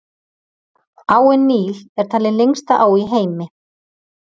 Áin Níl er talin lengsta á í heimi.